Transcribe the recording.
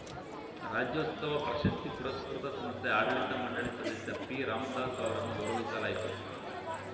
ರಾಜ್ಯೋತ್ಸವ ಪ್ರಶಸ್ತಿ ಪುರಸ್ಕೃತ ಸಂಸ್ಥೆಯ ಆಡಳಿತ ಮಂಡಳಿ ಸದಸ್ಯ ಪಿ ರಾಮ್ ದಾಸ್ ಅವರನ್ನು ಗೌರವಿಸಲಾಯಿತು